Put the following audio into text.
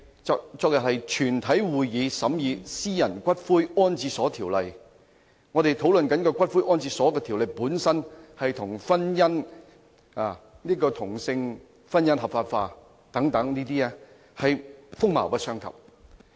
昨天是全體委員會審議《私營骨灰安置所條例草案》，我們討論的《條例草案》與同性婚姻合法化等議題，是風馬牛不相及。